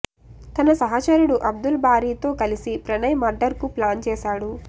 తన సహచరుడు అబ్దుల్ బారీతో కలిసి ప్రణయ్ మర్డర్ కు ప్లాన్ చేశాడు